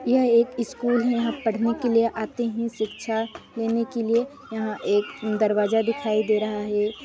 यह एक स्कूल है यहाँ पड़ने के लिए आते है शिक्षा लेने के लिए यहाँ एक दरवाजा दिखाई दे रहा है।